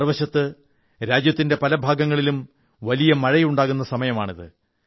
മറുവശത്ത് രാജ്യത്തിന്റെ പല ഭാഗങ്ങളിലും വലിയ മഴയുണ്ടാകുന്ന സമയമാണ് ഇത്